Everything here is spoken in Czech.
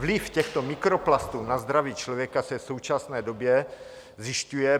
Vliv těchto mikroplastů na zdraví člověka se v současné době zjišťuje.